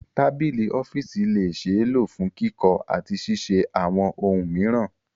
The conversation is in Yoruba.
Tabili ọfiisi le ṣee lo fun kikọ ati ṣiṣe awọn ohun miiran